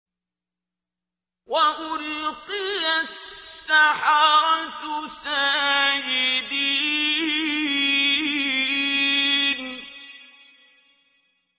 وَأُلْقِيَ السَّحَرَةُ سَاجِدِينَ